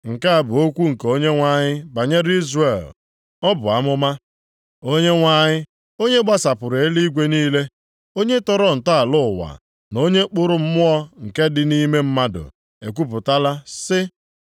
Nke a bụ okwu nke Onyenwe anyị banyere Izrel. Ọ bụ amụma. Onyenwe anyị, onye gbasapụrụ eluigwe niile, onye tọrọ ntọala ụwa, na onye kpụrụ mmụọ nke dị nʼime mmadụ, ekwupụtala, sị,